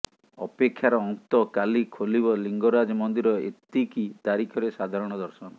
ଅପେକ୍ଷାର ଅନ୍ତ କାଲି ଖୋଲିବ ଲିଙ୍ଗରାଜ ମନ୍ଦିର ଏତିକି ତାରିଖରେ ସାଧାରଣ ଦର୍ଶନ